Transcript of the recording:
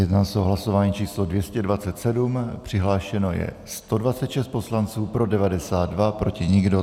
Jedná se o hlasování číslo 227, přihlášeno je 126 poslanců, pro 92, proti nikdo.